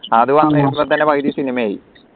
അത് വന്നപ്പോതന്നെയും പകുതി cinema യായി